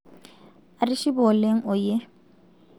atishipe oleng oyie